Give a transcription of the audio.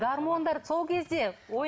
гармондар сол кезде